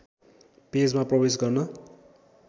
पेजमा प्रवेश गर्न